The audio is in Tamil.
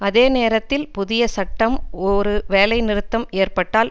அதே நேரத்தில் புதிய சட்டம் ஒரு வேலை நிறுத்தம் ஏற்பட்டால்